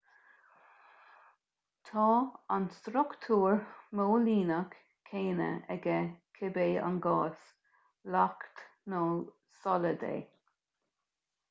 tá an struchtúr móilíneach céanna aige cibé an gás leacht nó solad é